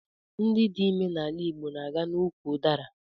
Ndị dị ime n'ala Igbo na aga n'úkwù udara